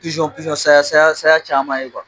saya saya caman ye